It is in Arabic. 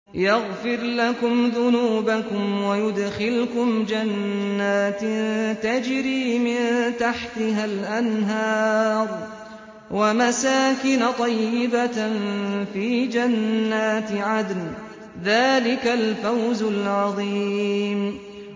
يَغْفِرْ لَكُمْ ذُنُوبَكُمْ وَيُدْخِلْكُمْ جَنَّاتٍ تَجْرِي مِن تَحْتِهَا الْأَنْهَارُ وَمَسَاكِنَ طَيِّبَةً فِي جَنَّاتِ عَدْنٍ ۚ ذَٰلِكَ الْفَوْزُ الْعَظِيمُ